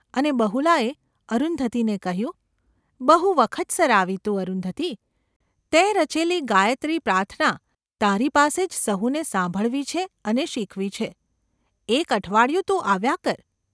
અને બહુલાએ અરુંધતીને કહ્યું : ‘બહુ વખતસર આવી તું, અરુંધતી ! તેં રચેલી ગાયત્રી પ્રાર્થના તારી પાસે જ સહુને સાંભળવી છે અને શીખવી છે; એક અઠવાડિયું તું આવ્યા કર.